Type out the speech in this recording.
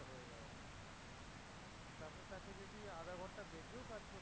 যদি আধা ধন্টা বেশি ও কাজ করতে